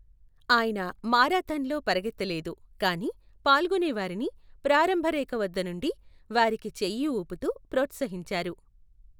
ఆయన మారాథాన్లో పరుగెత్తలేదు, కానీ పాల్గొనేవారిని ప్రారంభ రేఖ వద్ద నుండి వారికి చెయ్యి ఊపుతూ ప్రోత్సహించారు.